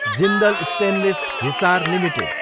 Jindal stainless, Hisar, limited